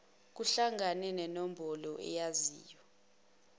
kuhlangane nenombolo oyaziyo